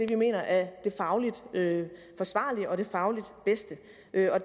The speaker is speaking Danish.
vi mener er det fagligt forsvarlige og det fagligt bedste